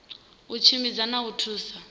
u tshimbidza na u thusa